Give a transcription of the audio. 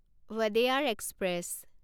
Wodeyar express